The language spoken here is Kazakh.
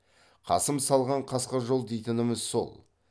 қасым салған қасқа жол дейтініміз сол